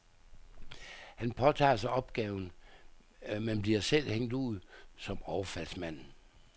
Han påtager sig opgaven, men bliver selv hængt ud som overfaldsmanden.